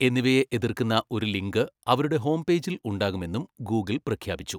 എന്നിവയെ എതിർക്കുന്ന ഒരു ലിങ്ക് അവരുടെ ഹോംപേജിൽ ഉണ്ടാകുമെന്നും ഗൂഗിൾ പ്രഖ്യാപിച്ചു.